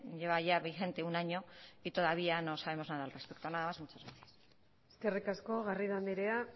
lleva ya vigente un año y todavía no sabemos nada al respeto nada más y muchas gracias eskerrik asko garrido andrea